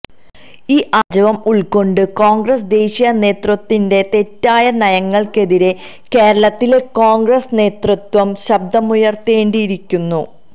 ഈ ആര്ജവം ഉള്ക്കൊണ്ട് കോണ്ഗ്രസ് ദേശീയ നേതൃത്വത്തിന്റെ തെറ്റായ നയങ്ങള്ക്കെതിരേ കേരളത്തിലെ കോണ്ഗ്രസ് നേതൃത്വം ശബ്ദമുയര്ത്തേണ്ടിയിരിക്കുന്നു